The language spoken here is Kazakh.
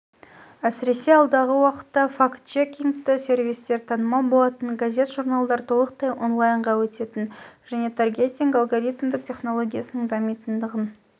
әсіресе алдағы уақытта фактчекингті сервистер танымал болатынын газет-журналдар толықтай онлайнға өтетінін және таргетинг алгоримдік тенологиясының дамитындығын